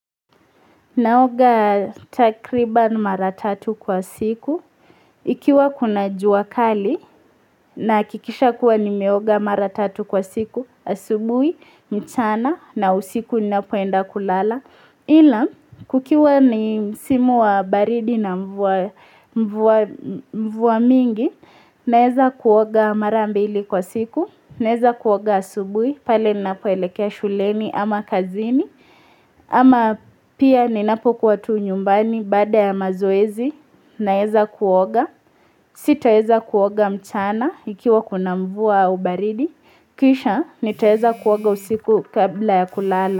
Naoga takriban mara tatu kwa siku. Ikiwa kuna jua kali, nahakikisha kuwa nimeoga mara tatu kwa siku, asubuhi, mchana, na usiku ninapoenda kulala. Ila, kukiwa ni msimu wa baridi na mvua mingi, naweza kuoga mara mbili kwa siku, naweza kuoga asubuhi, pale ninapoelekea shuleni ama kazini, ama pia ninapokuwa tu nyumbani baada ya mazoezi, naweza kuoga. Sitaweza kuoga mchana ikiwa kuna mvua ua baridi, kisha nitaweza kuoga usiku kabla ya kulala.